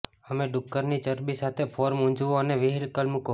અમે ડુક્કરની ચરબી સાથે ફોર્મ ઊંજવું અને વ્હીલ મૂકે